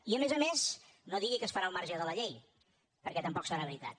i a més a més no digui que es farà al marge de la llei perquè tampoc serà veritat